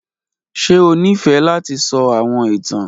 Ṣe o nifẹ lati sọ awọn itan?